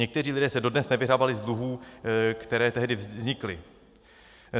Někteří lidé se dodnes nevyhrabali z dluhů, které tehdy vznikly.